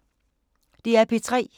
DR P3